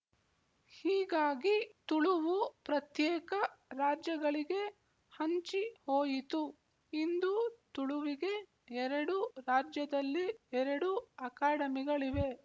ಹೀಗಾಗಿ ತುಳುವು ಪ್ರತ್ಯೇಕ ರಾಜ್ಯಗಳಿಗೆ ಹಂಚಿ ಹೋಯಿತು ಇಂದು ತುಳುವಿಗೆ ಎರಡು ರಾಜ್ಯದಲ್ಲಿ ಎರಡು ಅಕಾಡೆಮಿಗಳಿವೆ